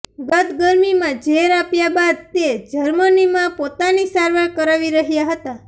ગત ગરમીમાં ઝેર આપ્યા બાદ તે જર્મનીમાં પોતાની સારવાર કરાવી રહ્યા હતા